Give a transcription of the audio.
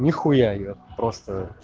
нихуя её просто